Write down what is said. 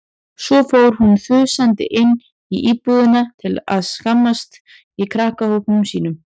Svo fór hún þusandi inn í íbúðina til að skammast í krakkahópnum sínum.